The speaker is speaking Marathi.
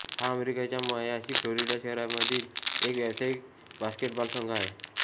हा अमेरिकेच्या मायामी फ्लोरिडा शहरामधील एक व्यावसायिक बास्केटबॉल संघ आहे